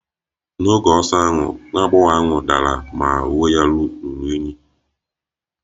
N'oge ọsọ ahụ, nwa agbọghọ ahụ dara ma uwe ya ruru unyi